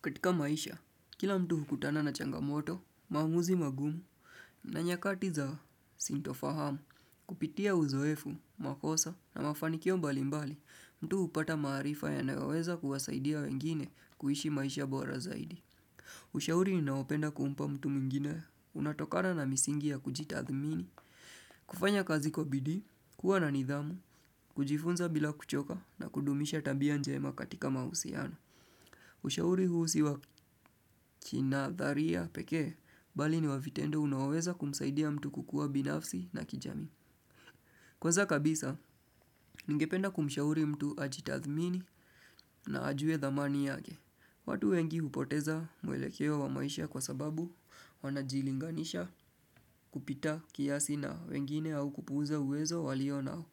Katika maisha, kila mtu hukutana na changamoto, maaumuzi magumu, na nyakati za sintofahamu, kupitia uzoefu, makosa, na mafanikio mbali mbali, mtu upata maarifa yanayoweza kuwasaidia wengine kuishi maisha bora zaidi. Ushauri niinayopenda kumpa mtu mwingine, unatokana na misingi ya kujitathmini, kufanya kazi kwa bidii, kuwa na nidhamu, kujifunza bila kuchoka na kudumisha tabia njema katika mahusiano. Ushauri huu siwakina dharia pekee, bali ni mavitendo unaoweza kumsaidia mtu kukua binafsi na kijamii. Kwanza kabisa, ningependa kumshauri mtu ajitathmini na ajue dhamani yake. Watu wengi hupoteza mwelekeo wa maisha kwa sababu wanajilinganisha kupita kiasi na wengine au kupuza uwezo walio nao.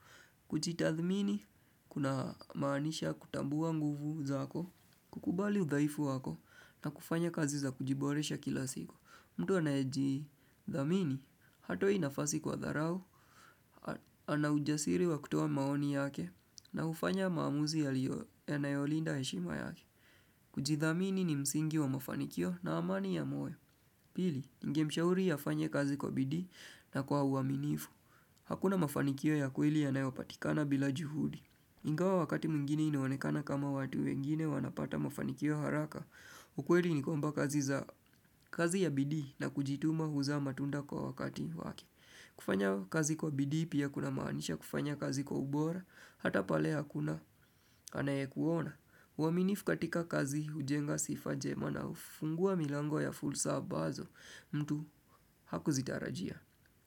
Kujitathmini kuna maanisha kutambua nguvu zako kukubali udhaifu wako na kufanya kazi za kujiboresha kila siku mtu anayejithamini hatoi nafasi kwa dharau Anaujasiri wa kutoa maoni yake na ufanya maamuzi ya nayolinda heshima yake kujithamini ni msingi wa mafanikio na amani ya moyo Pili, ngemshauri afanye kazi kwa bidii na kwa uaminifu Hakuna mafanikio ya kweli yanayopatikana bila juhudi. Ingawa wakati mwingine inaonekana kama watu wengine wanapata mafanikio haraka. Ukweli ni kwamba kazi ya bidii na kujituma huza matunda kwa wakati wake. Kufanya kazi kwa bidii pia kuna maanisha kufanya kazi kwa ubora. Hata pale hakuna anayekuona. Uaminifu katika kazi ujenga sifa njema na ufungua milango ya fursa ambazo mtu hakuzitarajia.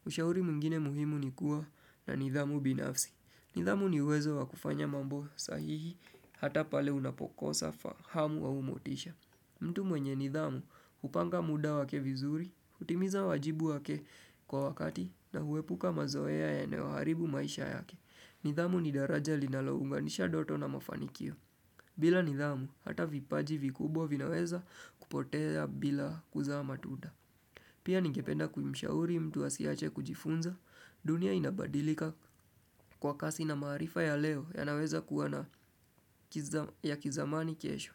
Ushauri mwingine muhimu ni kuwa na nidhamu binafsi. Nidhamu ni uwezo wa kufanya mambo sahihi hata pale unapokosa hamu au motisha. Mtu mwenye nidhamu upanga muda wake vizuri, utimiza wajibu wake kwa wakati na huepuka mazoea yanayo haribu maisha yake. Nidhamu ni daraja linalounganisha ndoto na mafanikio. Bila nidhamu hata vipaji vikubwa vinaweza kupotea bila kuzaa matunda. Pia ningependa kumshauri mtu asiwache kujifunza, dunia inabadilika kwa kasi na maarifa ya leo ya naweza kuwa na ya kizamani kesho.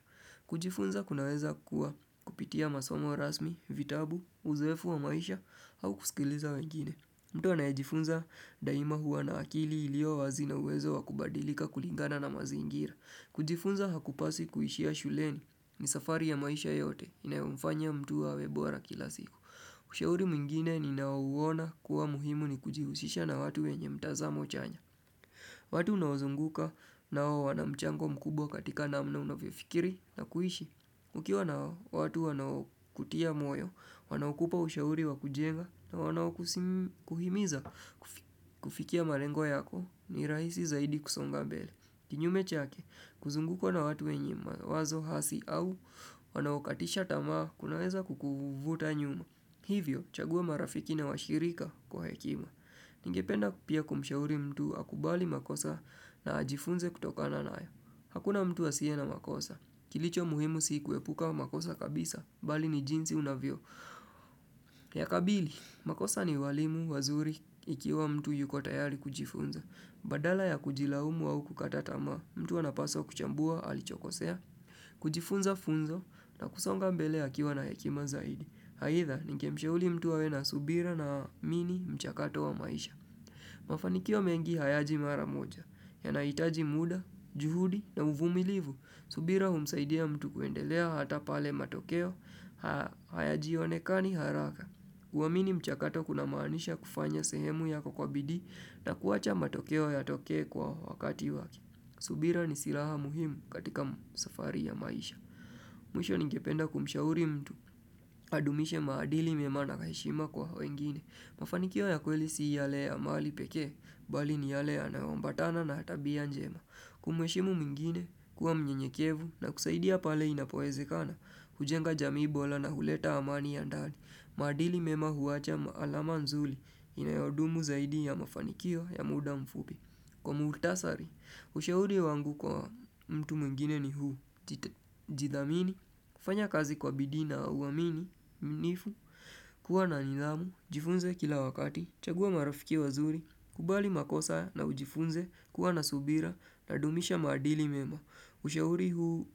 Kujifunza kunaweza kuwa kupitia masomo rasmi, vitabu, uzoefu wa maisha au kusikiliza wengine. Mtu anayejifunza daima huwa na akili ilio wazi na uwezo wa kubadilika kulingana na mazingira. Kujifunza hakupaswi kuishia shuleni ni safari ya maisha yote inayomfanya mtu awe bora kila siku. Ushauri mwingine ni nao uona kuwa muhimu ni kujihusisha na watu wenye mtazamo chanya. Watu unaozunguka nao wanamchango mkubwa katika namna unofyofikiri na kuishi. Kukiwa nao watu wanao kutia moyo, wanaokupa ushauri wa kujenga na wanao kuhimiza kufikia malengo yako ni rahisi zaidi kusonga bele. Kinyume chake, kuzungukwa na watu wenye wazo hasi au wanao katisha tamaa kunaweza kukuvuta nyuma. Hivyo, chagua marafiki na washirika kwa hekimwa. Ningependa pia kumshauri mtu akubali makosa na ajifunze kutokana nayo Hakuna mtu asiye na makosa. Kilicho muhimu sii kuepuka makosa kabisa, bali ni jinsi unavyo. Ya kabili, makosa ni walimu, wazuri, ikiwa mtu yuko tayari kujifunza. Badala ya kujilaumu au kukata tamaa, mtu anapaswa kuchambua, alichokosea. Kujifunza funzo na kusonga mbele akiwa na hekima zaidi. Haidha, ningemshauri mtu awe na subira na amini mchakato wa maisha. Mafanikio mengi hayaji mara moja, ya nahitaji muda, juhudi na uvumilivu. Subira humsaidia mtu kuendelea hata pale matokeo, hayajionekani haraka. Uwamini mchakato kuna maanisha kufanya sehemu yako kwa bidii na kuwacha matokeo ya tokee kwa wakati waki. Subira ni silaha muhimu katika safari ya maisha. Mwisho ningependa kumshauri mtu adumishe maadili mema na kaheshima kwa wengine. Mafanikio ya kweli si yale ya mali pekee, bali ni yale yanayoambatana na tabia njema. Kumweshimu mwingine, kuwa mnyenyekevu na kusaidia pale inapoezekana, hujenga jamii bora na huleta amani ya ndali. Maadili mema huwacha alama nzuri inayodumu zaidi ya mafanikio ya muda mfupi. Kwa muktasari, ushauri wangu kwa mtu mwigine ni huu, jithamini, kufanya kazi kwa bidii na uwamini, mnifu, kuwa na nidhamu, jifunze kila wakati, chagua marafiki wazuri, kubali makosa na ujifunze, kuwa na subira, nadumisha madili mema, ushauri huu.